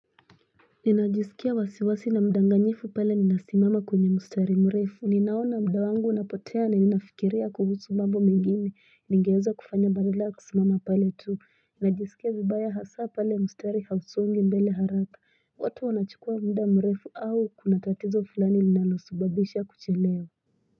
Ninajisikia wasiwasi na mdanganyifu pale ninasimama kwenye mustari mrefu. Ninaona muda wangu unapotea na ninafikiria kuhusu mambo mengine ningeweza kufanya badala kusimama pale tu. Najisikia vibaya hasa pale mstari hausongi mbele haraka. Watu wanachukua muda mrefu au kuna tatizo fulani linalosababisha kuchelewa.